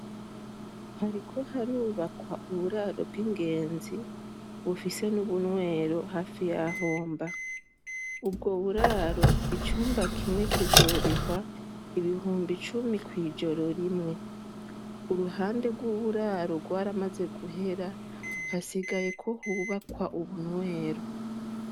Hariko harubakwa uburaro bw'ingenzi bufise n'ubunywero hafi yaho mba, ubwo buraro icumba kimwe kizorihwa ibihumbi cumi kw'ijoro rimwe. Uruhande rw'uburaro rwaramaze guhera hasigaye ko hubakwa ubunywero.